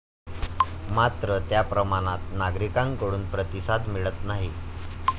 मात्र, त्याप्रमाणात नागरिकांकडून प्रतिसाद मिळत नाही.